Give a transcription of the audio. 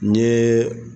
N ye